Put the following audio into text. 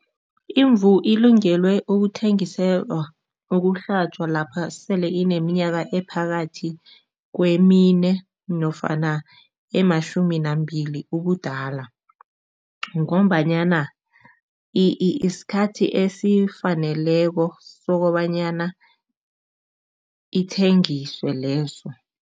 Imvu ilungele ukuthengiselwa ukuhlatjwa lapha sele ineminyaka ephakathi kwemine nofana ematjhumi nambili ubudala ngombanyana isikhathi esifaneleko sokobanyana ithengiswe leso.